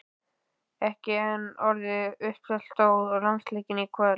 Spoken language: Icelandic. Ekki enn orðið uppselt á landsleikinn í kvöld?